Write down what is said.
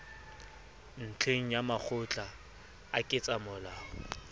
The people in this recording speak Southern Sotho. ntlheng ya makgotla a ketsamolao